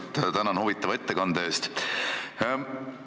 Kõigepealt tänan huvitava ettekande eest!